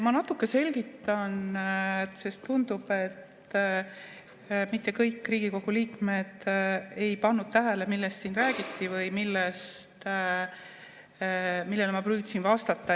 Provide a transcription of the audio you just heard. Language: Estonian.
Ma natuke selgitan, sest tundub, et mitte kõik Riigikogu liikmed ei pannud tähele, millest siin räägiti või millele ma püüdsin vastata.